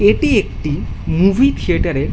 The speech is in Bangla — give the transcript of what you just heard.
এটি একটি মুভি থিয়েটার এর --